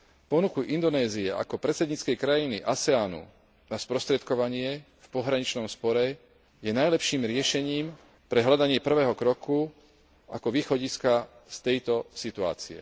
Ponuka Indonézie ako predsedníckej krajiny ASEAN u na sprostredkovanie v pohraničnom spore je najlepším riešením pre hľadanie prvého kroku ako východiska z tejto situácie.